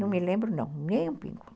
Não me lembro, não, nem um pingo.